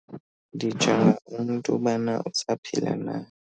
Ndijonga umntu ubana usaphila na.